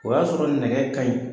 O y'a sɔrɔ nɛgɛ ka ɲi.